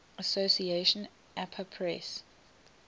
association apa press